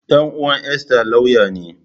Ɗan’uwan Esther lauya ne.